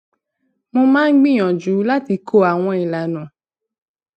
mo máa ń gbìyànjú láti kó àwọn ilana